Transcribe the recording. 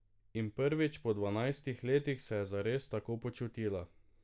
In prvič po dvanajstih letih se je zares tako počutila.